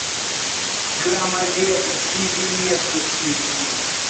громовержец и виннету включи